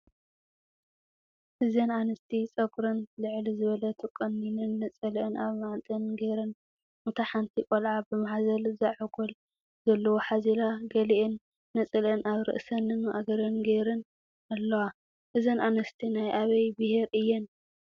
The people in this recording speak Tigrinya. እዘን ኣንስቲ ፀጉረን ልዕል ዝበለ ተቆሚነን ነፀለአን ኣብ መዓንጥአን ጌረን እታ ሓንቲ ቆልዓ ብማሕዘል ዛዕጎል ዘለዎ ሓዚላ ገሊአን ነፀለአን ኣብ ርእሰንን ማእገረንን ጌረን ኣለዎ። እዘን ኣንሰቲ ናይ ኣበይ ብሄር እየን ?